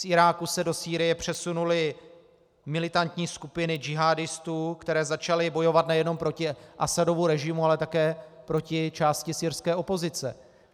Z Iráku se do Sýrie přesunuly militantní skupiny džihádistů, které začaly bojovat nejenom proti Asadovu režimu, ale také proti části syrské opozice.